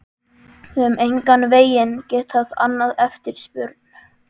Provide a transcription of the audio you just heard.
Við höfum engan veginn getað annað eftirspurn.